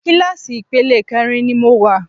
Kíláàsì ipele kẹrin ni mo wà.